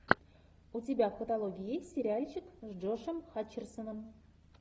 у тебя в каталоге есть сериальчик с джошем хатчерсоном